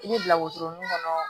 I bɛ bila wotoro min kɔnɔ